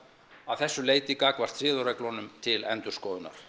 að þessu leyti gagnvart siðareglunum til endurskoðunar